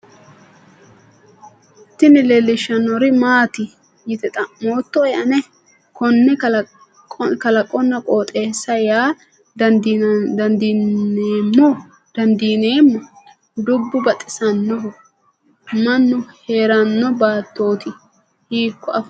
tini leellishshannori maati yite xa'moottoe ane ? konne kalaqonna qooxeessaho yaa dandiineemmo? dubbu baxisannoho ? mannu heeranno baattooti hiikkko afantanno?